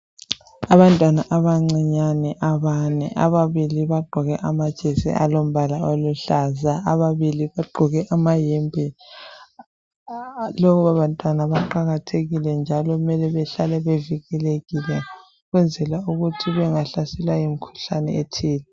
Abantwana abancinyane abane, ababili bagqoke amajesi alombala oluhlaza, ababili bagqoke amayembe. Laba bantwana baqakathekile njalo mele behlale bevikelekile ukwenzela ukuthi bangahlaselwa yimkhuhlane ethile.